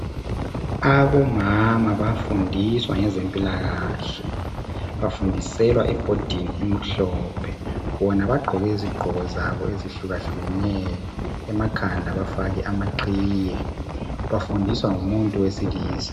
Abomama bayafundiswa ngabezempilakahle bafundiselwa ebhodini emhlophe bona bagqoke izinto ezihlukahlukeneyo emakhanda bafake amaqhiye bafundiswa ngumuntu wesilisa.